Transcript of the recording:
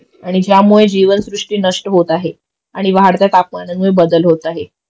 आणि ज्यामुळे जीवनसृष्टी नष्ट होत आहे आणि वाढत्या तापमानामध्ये बदल होत आहे